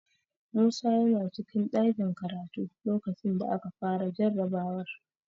Musa yana cikin ɗakin karatu lokacin da aka fara jarabawar.